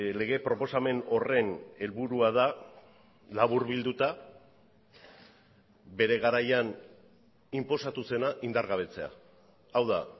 lege proposamen horren helburua da laburbilduta bere garaian inposatu zena indargabetzea hau da